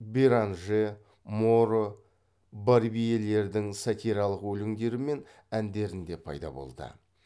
беранже моро барбьелердің сатиралық өлеңдері мен әндерінде пайда болды